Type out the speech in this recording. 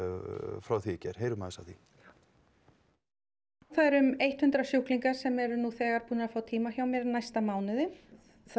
frá því í gær heyrum aðeins af því það eru um eitt hundrað sjúklingar sem eru nú þegar búnir að fá tíma hjá mér næsta mánuðinn það